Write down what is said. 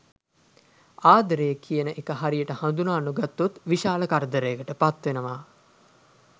ආදරය කියන එක හරියට හඳුනා නොගත්තොත් විශාල කරදරයකට පත්වෙනවා.